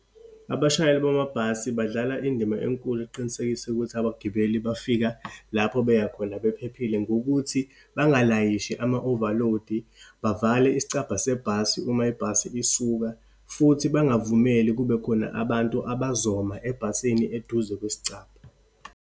Abashayeli bamabhasi badlala indima enkulu ekuqinisekisa ukuthi abagibeli bafika lapho beya khona bephephile, ngokuthi bangalayishi ama-overload-i, bavale isicabha sebhasi uma ibhasi isuka, futhi bangavumeli kubekhona abantu abazoma ebhasini eduze kwesicabha.